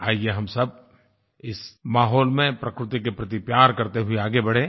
आइए हम सब इस माहौल में प्रकृति के प्रति प्यार करते हुए आगे बढ़ें